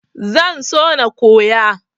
Zan so na koya.